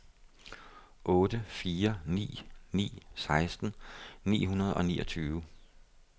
otte fire ni ni seksten ni hundrede og niogtyve